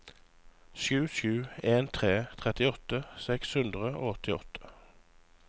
sju sju en tre trettiåtte seks hundre og åttiåtte